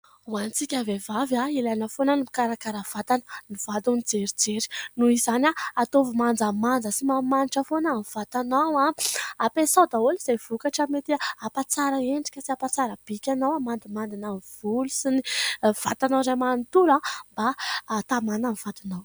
Ho antsika vehivavy, ilaina foana ny mikarakara vatana ny vady ny jerijery, noho izany ataovy manjamanja sy manimanitra foana ny vatanao, ampiasao daholo izay vokatra mety hampatsara endrika sy hampatsara bikanao hamandimandina volo sy ny vatanao iray manontolo mba hatamana ny vadinao !